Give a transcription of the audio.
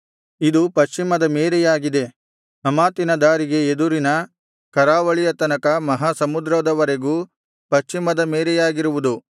ಇದು ಪಶ್ಚಿಮದ ಮೇರೆಯಾಗಿದೆ ಹಮಾತಿನ ದಾರಿಗೆ ಎದುರಿನ ಕರಾವಳಿಯ ತನಕ ಮಹಾ ಸಮುದ್ರದವರೆಗೂ ಪಶ್ಚಿಮದ ಮೇರೆಯಾಗಿರುವುದು